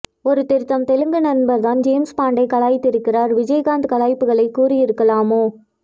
ஒரு திருத்தம் தெலுங்கு நண்பர்தான் ஜேம்ஸ் பாண்டை கலாய்த்திருக்கிறார் விஜய் காந்த் கலாய்ப்புகளைக் கூறி இருக்கலாமோ